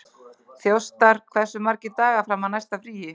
Þjóstar, hversu margir dagar fram að næsta fríi?